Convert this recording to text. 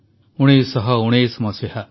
1919 ମସିହା